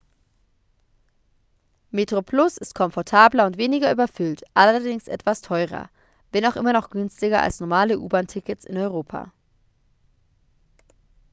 metroplus ist komfortabler und weniger überfüllt allerdings etwas teurer wenn auch immer noch günstiger als normale u-bahn-tickets in europa